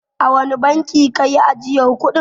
A wane bankin ka yi ajiyar kuɗin.